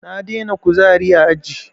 Na daina kuzari a aji